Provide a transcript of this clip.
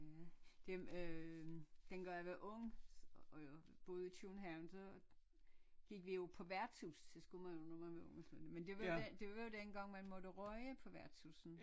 Ja det øh dengang jeg var ung øh boede i København så gik vi jo på værtshus det skulle man jo når man var men det var det var jo dengang man måtte ryge på værtshusene